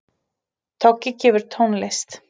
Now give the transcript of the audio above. Toggi gefur tónlist